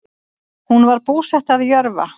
Hún var búsett að Jörfa